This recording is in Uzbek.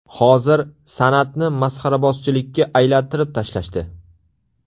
Hozir san’atni masxarabozchilikka aylantirib tashlashdi.